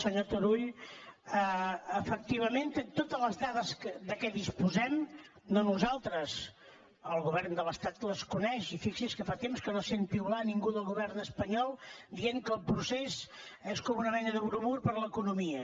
senyor turull efectivament té totes les dades de què disposem no nosaltres el govern de l’estat que les coneix i fixi’s que fa temps que no sent piular ningú del govern espanyol dient que el procés és com una mena de bromur per a l’economia